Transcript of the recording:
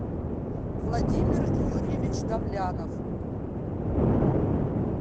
владимир юрьевич давлянов